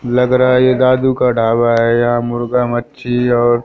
लग रहा ये दादू का ढाबा है या मुर्गा मच्छी और--